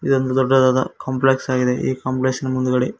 ದೊಡ್ಡ ದೊಡ್ಡದಾದ ಕಾಂಪ್ಲೆಕ್ಸ್ ಆಗಿದೆ ಈ ಕಾಂಪ್ಲೆಕ್ಸ್ ನ ಮುಂದ್ಗಡೆ--